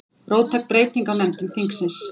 Róttæk breyting á nefndum þingsins